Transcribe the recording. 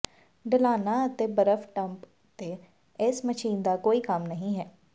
ਢਲਾਨਾਂ ਅਤੇ ਬਰਫ਼ ਡੰਪ ਉੱਤੇ ਇਸ ਮਸ਼ੀਨ ਦਾ ਕੋਈ ਕੰਮ ਨਹੀਂ ਹੈ